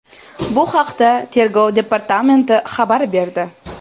Bu haqda Tergov departamenti xabar berdi.